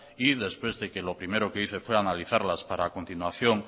y después de que lo primero que hice fue analizarlas para a continuación